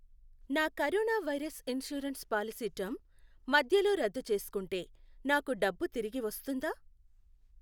నా corona virus insurance policy term మధ్యలో రద్దు చేసుకుంటే నాకు డబ్బు తిరిగి వస్తుందా?